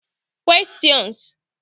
Questions